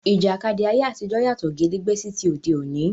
Ìjàkadì ayé àtijọ́ yàtọ̀ gédégbé sí ti òde òní.